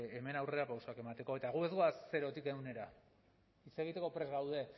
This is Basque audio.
hemen aurrerapausoak emateko eta gu ez goaz zerotik ehunera egiteko prest gaude